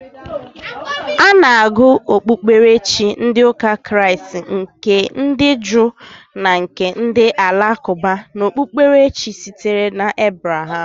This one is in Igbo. Ana agụ okpukperechi ndi ụka kraist, nke ndi juu na nke ndi alakụba ka okpukperechi sitere na Ebraham.